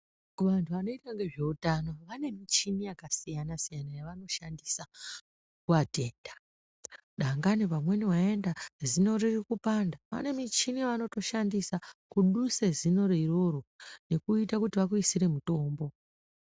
Kuvanhu vanoita nezveutano vane michini yakawanda yavanoshandisa kuatenda. Dangani pamweni waenda, zino riri kupanda, vane michini yavanotoshandisa kuduse zinoro iroro, nekuita kuti vakuisire mutombo.